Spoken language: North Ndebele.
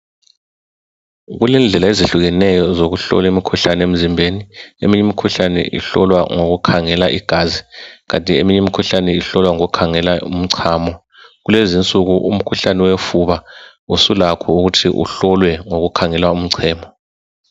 Kulendlela ezehlukeneyo zokuhlola imikhuhlane emzimbeni, eminye imikhuhlane ihlolwa ngokukhangela igazi kanti eminye imikhuhlane ihlolwa ngokukhangela umchamo. Kulezi insuku umkhuhlane yofuba usulakho ukuthi uhlolwe ngokhangela umchamo.